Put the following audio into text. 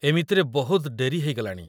ଏମିତିରେ ବହୁତ ଡେରି ହେଇଗଲାଣି ।